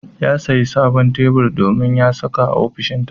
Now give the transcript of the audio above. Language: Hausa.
Ya sayi sabon tebur domin ya saka a ofishinsa.